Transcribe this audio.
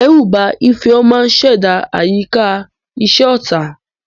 Ìdẹ́rùbà Ifeoma ṣẹ̀dá àyíká iṣẹ́ ọ̀tá.